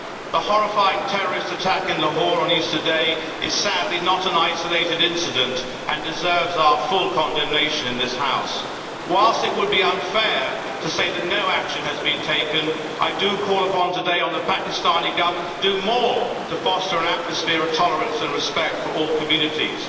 The horrifying terrorist attack in Lahore on Easter Day is sadly not an isolated incident and deserves our full condemnation in this House. Whilst it would be unfair to say that no action has been taken, I do call today upon the Pakistani Government to do more to foster an atmosphere of tolerance and respect for all communities.